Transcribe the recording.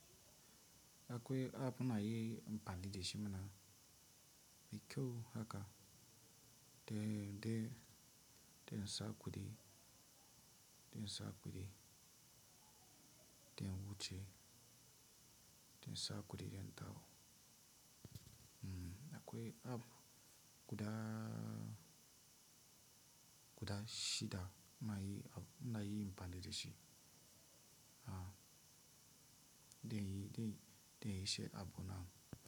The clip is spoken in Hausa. Akwai app ina yi amfani da shi ne. Mai kyau haka? Dai, dai, dai sa kuɗi, dai sa kuɗi, dai wuce, dai dan kuɗi, in dawo. Akwai app guda guda shida inayin amfani da shi Mmm, dai dai shi app, nan,